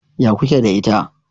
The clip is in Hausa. Ya ku ke da ita?